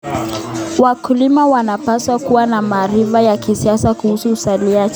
Wakulima wanapaswa kuwa na maarifa ya kisasa kuhusu uzalishaji.